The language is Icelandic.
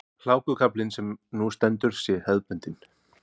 Hlákukaflinn sem nú stendur sé hefðbundinn